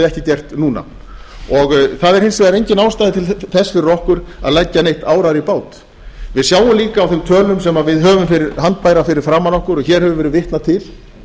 ekki gert núna það er hins vegar engin ástæða til þess fyrir okkur að leggja neitt árar í bát við sjáum líka á þeim tölum sem við höfum handbærar fyrir framan okkur að hér hefur verið vitnað til